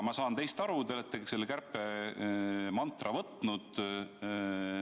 Ma saan teist aru, te oletegi selle kärpemantra võtnud.